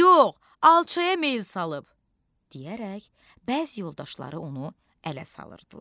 Yox, yox, alçaya meyl salıb deyərək bəzi yoldaşları onu ələ salırdılar.